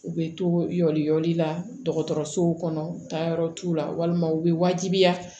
U bɛ toli yɔrɔ la dɔgɔtɔrɔsow kɔnɔ taayɔrɔ t'u la walima u bɛ wajibiya